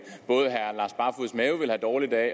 have dårligt af